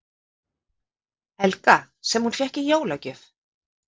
Helga: Sem hún fékk í jólagjöf?